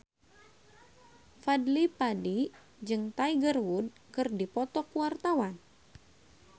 Fadly Padi jeung Tiger Wood keur dipoto ku wartawan